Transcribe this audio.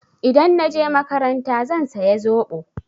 Idan na je makaranta zan saya zoɓo.